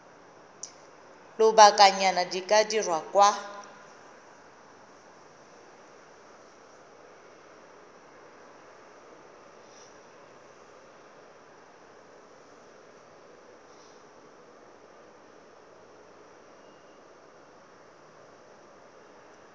lobakanyana di ka dirwa kwa